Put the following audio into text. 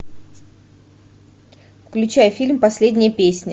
включай фильм последняя песня